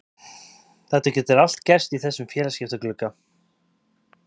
Það getur allt gerst í þessum félagaskiptaglugga.